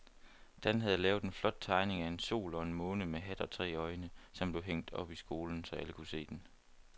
Dan havde lavet en flot tegning af en sol og en måne med hat og tre øjne, som blev hængt op i skolen, så alle kunne se den.